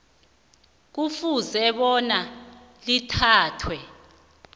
kufuze bona lithathwe